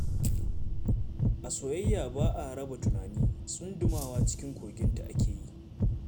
A soyayya ba a raba tunani, tsundumawa cikin koginta ake yi.